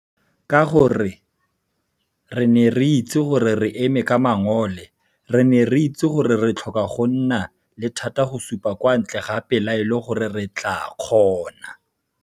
Ka gore re ne re itse gore re eme ka mangole, re ne re itse gore re tlhoka go nna le thata go supa kwa ntle ga pelaelo gore re tlaa kgona.